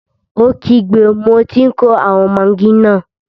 Ó kígbe, mo tí n kó àwọn magí náà!